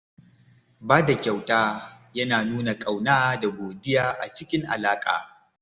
Ba da kyauta yana nuna ƙauna da godiya a cikin alaƙa.